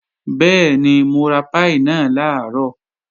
Bẹ́ẹ̀ni, mo ra páì náà làárọ̀